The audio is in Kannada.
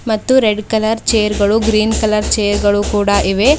ಮತ್ತು ರೆಡ್ ಕಲರ್ ಚೇರ್ ಗಳು ಗ್ರೀನ್ ಕಲರ್ ಚೇರ್ ಗಳು ಕೂಡ ಇವೆ.